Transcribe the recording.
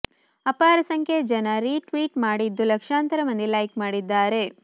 ಅಪಾರ ಸಂಖ್ಯೆಯ ಜನ ರೀ ಟ್ವೀಟ್ ಮಾಡಿದ್ದು ಲಕ್ಷಾಂತರ ಮಂದಿ ಲೈಕ್ ಮಾಡಿದ್ದಾರೆ